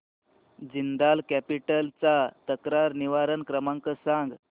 Jindal capital चा तक्रार निवारण क्रमांक सांग